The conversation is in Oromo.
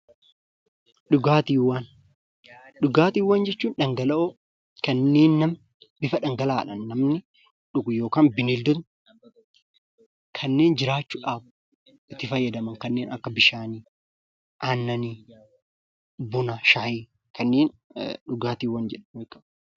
Dhugaatiiwwan jechuun dhangala'oowwan kanneen bifa dhangala'aadhaan namni dhugu yookaan bineeldonni kanneen jiraachuudhaaf itti fayyadaman kanneen akka bishaanii, aannanii, buna, shaayii kanneen dhugaatii jedhamu.